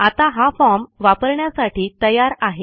आता हा फॉर्म वापरण्यासाठी तयार आहे